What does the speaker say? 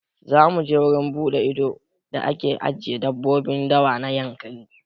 Za mu je wurin buɗe ido da ake ajiye dabbobin dawa na Yankari.